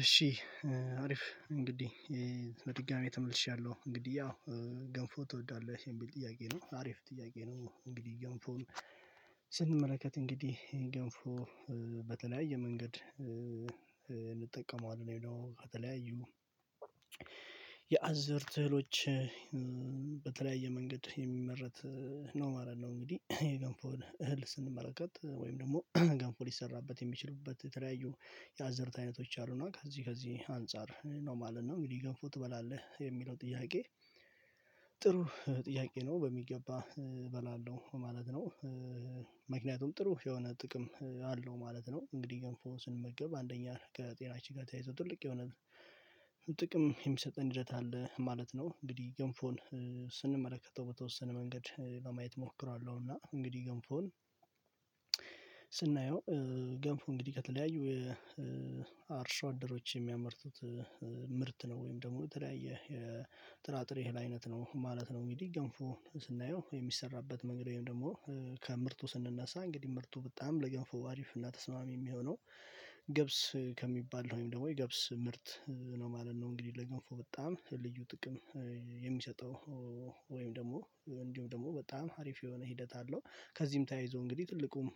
እሺ። አሪፍ እንግዲህ በድጋሚ ተመልሻለሁ እንግዲህ ያው ገንፎ ትወዳለህ የሚል ጥያቄ ነው አሪፍ ጥያቄ ነው። እንግዲህ ገንፎን ስንመለከት እንግዲህ ገንፎ በተለያየ መንገድ እንጠቀመዋለን ይሄ ነው። ከተለያዩ የአዝርት እህሎች በተለያየ መንገድ የሚመረት ነው ማለት ነው። እንግዲህ የገንፎ እህል ስንመለከት ወይም ደግሞ ገንፎ ሊሰራበት የሚችልበት ተለያዩ የአዘርት አይነቶች አሉ እና ከዚህ ከዚህ አንፃር ነው ማለት ነው። እንግዲህ ገብፎ ትበላለህ የሚለው ጥያቄ? ጥሩ ጥያቄ ነው በሚገባ እበላለሁ ማለት ነው። ምክንያቱም ጥሩ የሆነ ጥቅም አለው ማለት ነው። እንግዲህ ገንፎ ስንመገብ አንደኛ ከጤናችን ጋር ተያይዞ ትልቅ የሆነ ጥቅም የሚሰጠን ሂደት አለ ማለት ነው። እንግዲህ ገንፎን ስንመለከተው በተወሰነ መንገድ ለማየት እሞክራለሁና እንግዲህ ገንፎን ስናየው ገንፉ እንግዲህ ከተለያዩ አርሶ አደሮች የሚያመርቱት ምርት ነው ወይም ደግሞ የተለያየ የጥራጥሬ አይነት ነው ማለት ነው። እንግዲህ ገንፎ ስናየው የሚሰራበት መንገድ ወይም ደግሞ ከምርቱ ስንነሳ እንግዲህ ምርቱ በጣም ለገንፎ አሪፍ እና ተስማሚ የሚሆነው ገብስ ከሚባል ወይም ደግሞ የገብስ ምርት ነው ማለት ነው። እንግዲህ ለገንፎ በጣም ልዩ ጥቅም የሚሰጠው ወይም ደግሞ እንዲሁ ደግሞ በጣም አሪፍ የሆነ ሂደት አለው። ከዚህም ተያይዞ እንግዲህ ትልቁም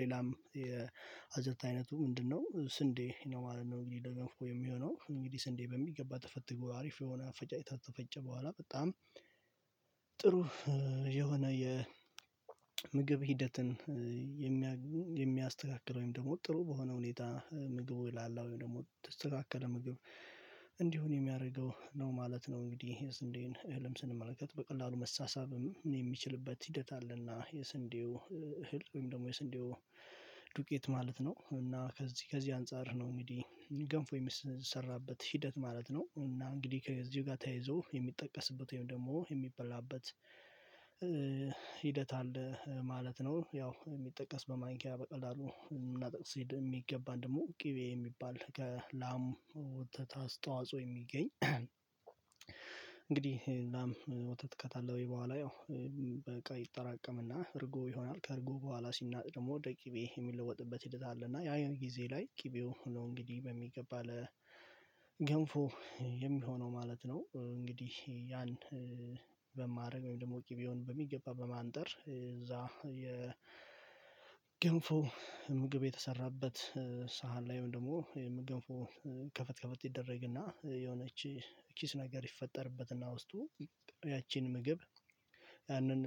ሌላም የአዘርት አይነቱ ምንድነው ስንዴ ነው ማለት ነው። እንግዲህ ደግሞ የሚሆነው እንግዲህ ስንዴ በሚገባ ተፈትጎ አሪፍ የሆነ አፈጫጭታ ተፈጨ በኋላ በጣም ጥሩ የሆነ የምግብ ሂደትን የሚያስተካክለው ወይም ደግሞ ጥሩ በሆነ ሁኔታ ምግቡ ይላል አሁን ደግሞ ተስተካከለ ምግብ እንዲሆን የሚያደርገው ነው ማለት ነው። እንግዲህ እዚህ እንዴት እህልም ስንመለከት በቀላሉ መሳሳብም የሚችልበት ሂደት አለና የስንዴው እህል ወይም ደግሞ የስንዴው ዱቄት ማለት ነው። እና ከዚህ ከዚህ አንፃር ነው እንግዲህ ገንፎ የሚሰራበት ሂደት ማለት ነው። እና እንግዲህ ከዚህ ጋር ተያይዞ የሚጠቀስበት ወይም ደግሞ የሚበላበት ሂደት አለ ማለት ነው። ያው የሚጠቀስ በማንኪያ በቀላሉ እና ጥቅስ ሲድ የሚገባን ደግሞ ቅቤ የሚባል ከላም ወተት አስተዋጽኦ የሚገኝ እንግዲህ ላም ወተት ከታለበይ በኋላ ያው በቃ ይጠራቀምና እርጎ ይሆናል ከእርጎ በኋላ ሲናጥል ደግሞ ወደቂቤ የሚለወጥበት ሂደት አለና ያየው ጊዜ ላይ ቅቤው እንግዲህ በሚገባ ለገንፎ የሚሆነው ማለት ነው። እንግዲህ ያን ወይም ደግሞ ቅቤውን በሚገባ በማንጠር እዛ የ የገንፎ ምግብ የተሰራበት ሳህን ላይም ደግሞ የም ገንፎ ከፍት ከፍት ይደረግና የሆነች ኪስ ነገር ይፈጠርበትና ውስጡ ያቺን ምግብ ያንን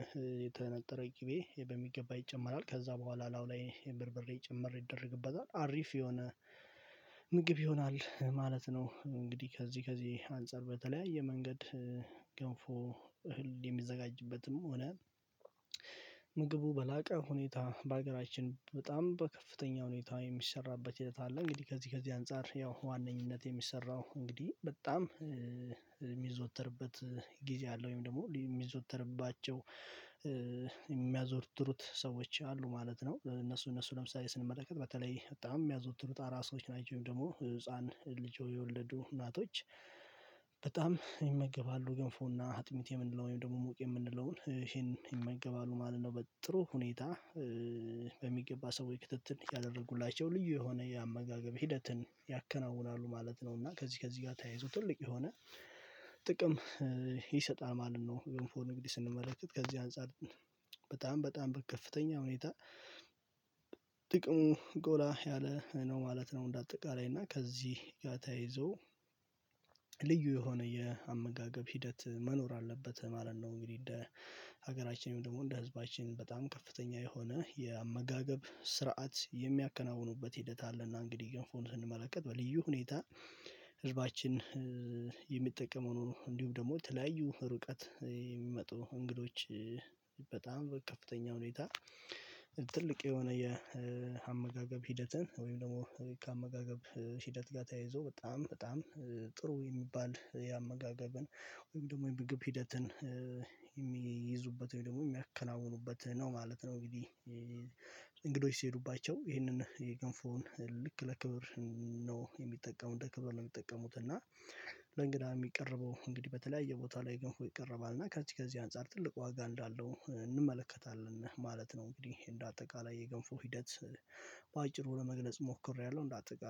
የተነጠረ ቂቤ በሚገባ ይጨመራል ከዛ በኋላ ላው የምርምሬ ጭምር ይደረግበታል አሪፍ የሆነ ምግብ ይሆናል ማለት ነው። እንግዲህ ከዚህ ከዚህ አንፃር በተለያየ የመንገድ ገንፎ እህል የሚዘጋጅበትም ሆነ ምግቡ በላቀ ሁኔታ በሀገራችን በጣም በከፍተኛ ሁኔታ የሚሰራበት ህይወት አለ። እንግዲህ ከዚህ ከዚህ አንፃር ያው ዋነኝነት የሚሰራው እንግዲህ በጣም የሚዘወተርበት ጊዜ አለ ወይም ደግሞ የሚዘወተርባቸው የሚያዞርትሩት ሰዎች አሉ ማለት ነው። ለእነሱ እነሱ ለምሳሌ ስንመለከት በተለይ በጣም የሚያዘወትሩት አራሶች ናቸው ወይም ደግሞ ህፃን ልጆ የወለዱ እናቶች በጣም ይመገባሉ ገንፎና አጥሚቴ የምንለው ወይም ደግሞ ሙቅ የምንለውን ይሄንን ይመገባሉ ማለት ነው። በጥሩ ሁኔታ በሚገባ ሰው ክትትል እያደረጉላቸው ልዩ የሆነ የአመጋገብ ሂደትን ያከናውናሉ ማለት ነው። እና ከዚህ ከዚህ ጋር ተያይዞ ትልቅ የሆነ ጥቅም ይሰጣል። ማንም ነው ገንፎ እንግዲህ ስንመለከት ከዚህ አንፃር በጣም በጣም በከፍተኛ ሁኔታ ጥቅሙ ጎላ ያለ ነው ማለት ነው። እንደ አጠቃላይ እና ከዚህ ጋር ተያይዞ ልዩ የሆነ የአመጋገብ ሂደት መኖር አለበት ማለት ነው። እንግዲህ እንደ ሀገራችንም ደግሞ እንደ ህዝባችን በጣም ከፍተኛ የሆነ የአመጋገብ ስርዓት የሚያከናውኑበት ሂደት አለና እንግዲህ ገንፎ ስንመለከት በልዩ ሁኔታ ህዝባችን የሚጠቀመው ነው። እንዲሁም ደግሞ ተለያዩ ሩቀት የሚመጡ እንግዶች በጣም በከፍተኛ ሁኔታ ትልቅ የሆነ የአመጋገብ ሂደትን ወይም ደግሞ ከአመጋገብ ሂደት ጋር ተያይዞ በጣም በጣም ጥሩ የሚባል የአመጋገብን ወይም ደግሞ የምግብ ሂደትን የሚይዙበት ወይ ደግሞ የሚያከናውኑበት ነው ማለት ነው። እንግዲህ እንግዶች ሲሄዱባቸው ይህንን የገንፎውን ልክ ለክብር ነው የሚጠቀሙት ለክብር ነው የሚጠቀሙት። እና ለእንግዳ የሚቀርበው እንግዲህ በተለያየ ቦታ ላይ ግንፎ ይቀርባል እና ከዚህ ከዚህ አንፃር ትልቅ ዋጋ እንዳለው እንመለከታለን ማለት ነው። እንግዲህ እንደ አጠቃላይ የገንፎ ሂደት በአጭሩ ለመግለጽ ሞክሬያለሁ። እንዳጣቃለይ